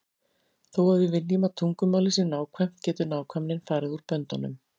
Þó að við viljum að tungumálið sé nákvæmt getur nákvæmnin farið út böndunum.